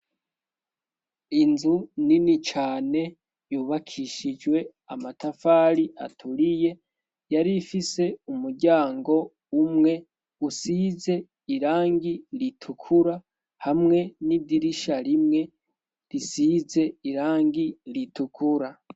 Inzu nini cane yubakishijwe amatafari aturiye, yari ifise umuryango umwe usize irangi ritukura hamwe n'idirisha rimwe risize irangi ritukura.